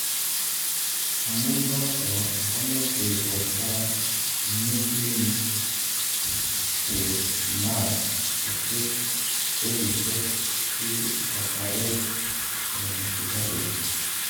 amu noto, komeche borta inuslin chechnag kochut sellishek si kotaret eng sukaruk